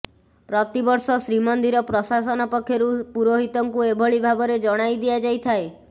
ପ୍ରତିବର୍ଷ ଶ୍ରୀମନ୍ଦିର ପ୍ରଶାସନ ପକ୍ଷରୁ ପୁରୋହିତଙ୍କୁ ଏଭଳି ଭାବରେ ଜଣାଇଦିଆଯାଇଥାଏ